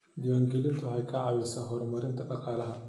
Diiwaangelintu waxay ka caawisaa horumarinta dhaqaalaha.